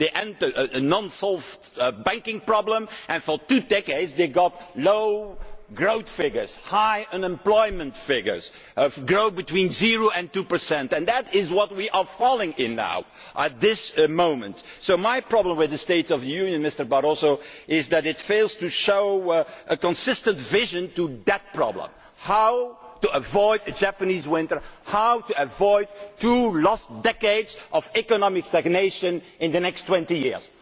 They entered an unresolved banking problem and for two decades they had low growth figures, high unemployment figures, growth between 0 and 2, and that is what we are falling into now at this moment. So my problem with the State of the Union address, Mr Barroso, is that it fails to show a consistent vision for that problem how to avoid a Japanese winter, how to avoid two lost decades of economic stagnation in the next twenty years.